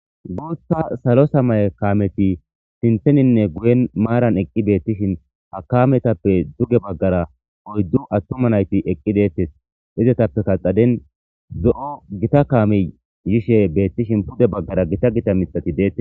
Bootha salo samaye kaameti sinththeninne guyen maaran eqqi beetishin ha kaametappe duge bagaara oyddu attuma nayti eqqi de'etees; izetapekka xaden zo'o gita kaamey yishe beetishin pude bagaara gita gita miththati de'etees.